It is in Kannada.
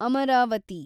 ಅಮರಾವತಿ